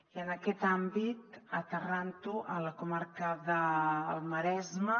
i en aquest àmbit aterrant ho a la comarca del maresme